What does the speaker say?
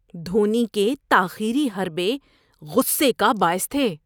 دھونی کے تاخیری حربے غصے کا باعث تھے۔